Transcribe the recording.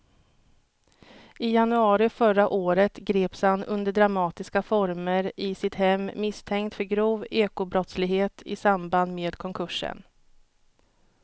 I januari förra året greps han under dramatiska former i sitt hem misstänkt för grov ekobrottslighet i samband med konkursen.